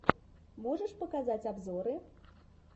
можешь показать обзоры